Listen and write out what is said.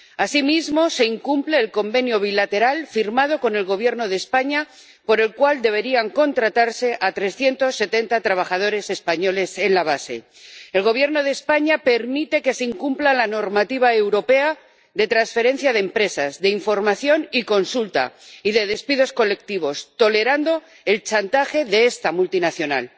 Asimismo, se incumple el convenio bilateral firmado con el Gobierno de España, por el cual debería contratarse a 370 trabajadores españoles en la base. El Gobierno de España permite que se incumpla la normativa europea de transferencia de empresas, de información y consulta, y de despidos colectivos, tolerando el chantaje de esta multinacional.